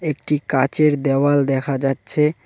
একটি কাঁচের দেওয়াল দেখা যাচ্ছে।